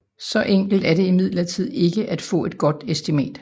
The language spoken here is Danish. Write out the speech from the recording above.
Så enkelt er det imidlertid ikke at få et godt estimat